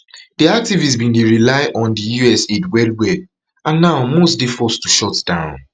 di activists bin dey rely on di us aid wellwell and now most dey forced to shut down